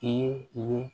U ye